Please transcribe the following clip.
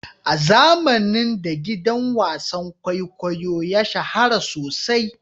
A zamanin da gidan wasan kwaikwayo ya shahara sosai.